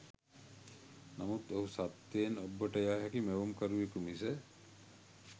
නමුත් ඔහු සත්‍යයෙන් ඔබ්බට යා හැකි මැවුම්කරුවකු මිස